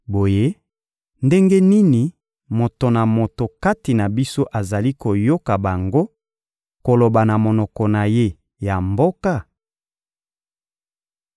Boye, ndenge nini moto na moto kati na biso azali koyoka bango koloba na monoko na ye ya mboka?